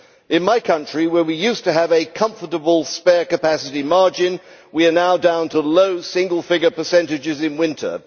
In my country, where we used to have a comfortable spare capacity margin, we are now down to low single figure percentages in winter.